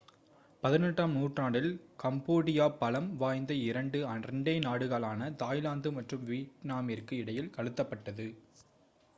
18 ம் நூற்றாண்டில் கம்போடியா பலம் வாய்ந்த இரண்டு two அண்டை நாடுகளான தாய்லாந்து மற்றும் வியட்நாமிற்கு இடையில் அழுத்தப் பட்டது